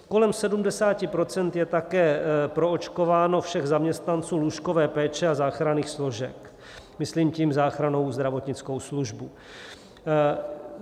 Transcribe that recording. Kolem 70 % je také proočkováno všech zaměstnanců lůžkové péče a záchranných složek, myslím tím záchrannou zdravotnickou službu.